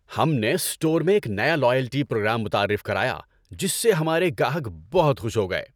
ہم نے اسٹور میں ایک نیا لائلٹی پروگرام متعارف کرایا جس سے ہمارے گاہک بہت خوش ہو گئے۔